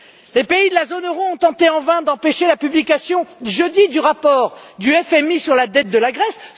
Les pays de la zone euro ont tenté en vain d'empêcher la publication, jeudi, du rapport du FMI sur la dette de la Grèce.